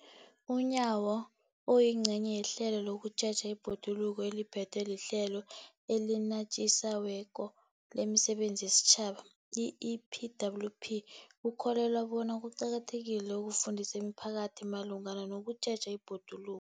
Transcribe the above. UNyawo, oyingcenye yehlelo lokutjheja ibhoduluko eliphethwe liHlelo eliNatjisi weko lemiSebenzi yesiTjhaba, i-EPWP, ukholelwa bona kuqakathekile ukufundisa imiphakathi malungana nokutjheja ibhodulu